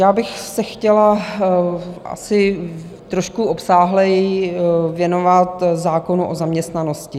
Já bych se chtěla asi trošku obsáhleji věnovat zákonu o zaměstnanosti.